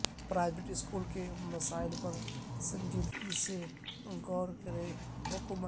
private school کے مسائل پر سنجیدگی سے غور کریں حکومت